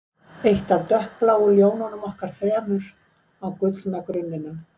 Eitt af dökkbláu ljónunum okkar þremur á gullna grunninum